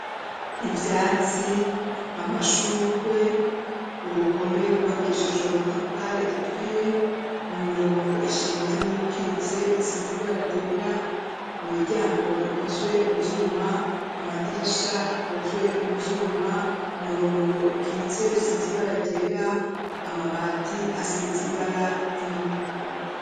Ivyatsi, amashugwe, uruhome rwubakishijwe amatafari aturiye mu mirongo ishinze n'ikitse isize ibara ryera imiryango ikozwe mu vyuma, amadirisha akozwe mu vyuma umurongo ukitse usize ibara ryera amabati asize ibara ry'umutuku.